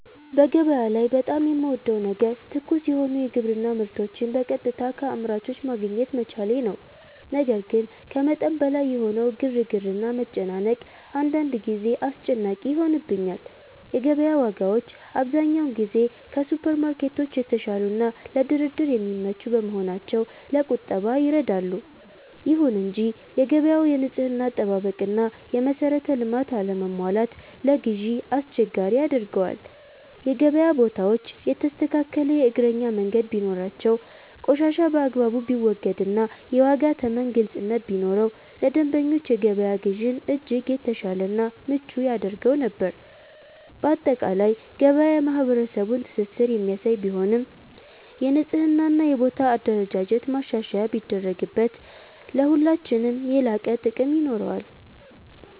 በገበያ ላይ በጣም የምወደው ነገር ትኩስ የሆኑ የግብርና ምርቶችን በቀጥታ ከአምራቾች ማግኘት መቻሌ ነው። ነገር ግን ከመጠን በላይ የሆነው ግርግርና መጨናነቅ አንዳንድ ጊዜ አስጨናቂ ይሆንብኛል። የገበያ ዋጋዎች አብዛኛውን ጊዜ ከሱፐርማርኬቶች የተሻሉና ለድርድር የሚመቹ በመሆናቸው ለቁጠባ ይረዳሉ። ይሁን እንጂ የገበያው የንጽህና አጠባበቅና የመሰረተ ልማት አለመሟላት ለግዢ አስቸጋሪ ያደርገዋል። የገበያ ቦታዎች የተስተካከለ የእግረኛ መንገድ ቢኖራቸው፣ ቆሻሻ በአግባቡ ቢወገድና የዋጋ ተመን ግልጽነት ቢኖረው ለደንበኞች የገበያ ግዢን እጅግ የተሻለና ምቹ ያደርገው ነበር። ባጠቃላይ ገበያ የማህበረሰቡን ትስስር የሚያሳይ ቢሆንም፣ የንጽህናና የቦታ አደረጃጀት ማሻሻያ ቢደረግበት ለሁላችንም የላቀ ጥቅም ይኖረዋል።